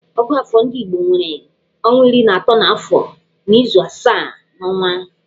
Ògụ́àfọ̀ ndị igbo nwere ọnwa iri na atọ n'afọ na izu asaa n'ọnwa.